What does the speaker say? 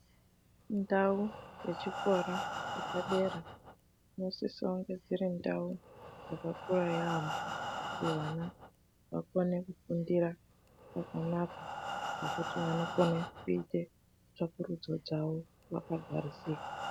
Ndau dzechikora chepadera, dzinosisonge dziri ndau dzakakura yaamho kuti vana vakone kufundira pakanaka pekuti vanokone kuite tsakurudzo dzavo vakagarisika.